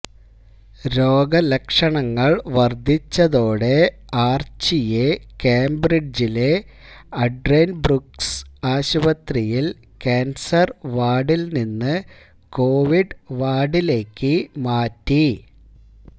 രോഗലക്ഷണങ്ങള് വര്ദ്ധിച്ചതോടെ ആര്ച്ചിയെ കേംബ്രിഡ്ജിലെ അഡെന്ബ്രൂക്ക്സ് ആശുപത്രിയില് കാന്സര് വാര്ഡില് നിന്ന് കൊവിഡ് വാര്ഡിലേക്ക് മാറ്റി